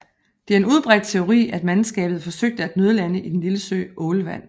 Det er en udbredt teori at mandskabet forsøgte at nødlande i den lille sø Ålvand